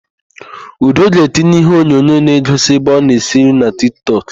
Udo ga-etinye iheonyonyo na-egosi ebe ọ na-esi nri na Tiktọk.